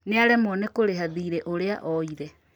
Nĩaremwo kũrĩha thiirĩ ũrĩa oire